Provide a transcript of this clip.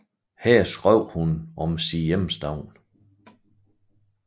Her skrev hun om sin hjemstavn